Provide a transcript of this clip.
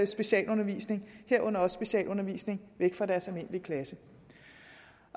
specialundervisning herunder også specialundervisning væk fra deres almindelige klasse